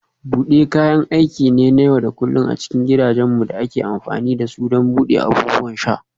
Bude kayan aiki ne na yau da kullun a cikin gidajenmu da ake amfani da su don buɗe abubuwan sha.